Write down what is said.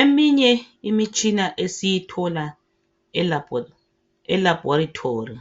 Eminye imitshina esiyithola elaboratory,